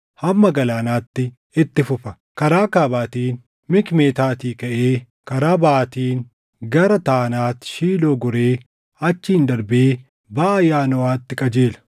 hamma galaanaatti itti fufa. Karaa kaabaatiin Mikmetaatii kaʼee karaa baʼaatiin gara Taanaat Shiiloo goree achiin darbee baʼa Yaanoʼaatti qajeela.